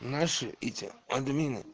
наши эти админы